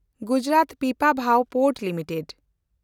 Gujarat Pipavav port limited